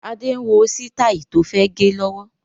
Adé ń wo sitai tó fẹ́ gẹ lọ́wọ́